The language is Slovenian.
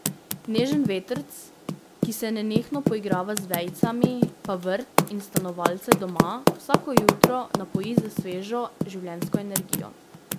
Nežen vetrc, ki se nenehno poigrava z vejicami, pa vrt in stanovalce doma vsako jutro napoji s svežo življenjsko energijo.